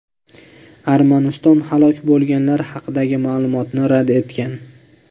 Armaniston halok bo‘lganlar haqidagi ma’lumotni rad etgan.